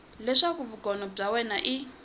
leswaku vugono bya wena i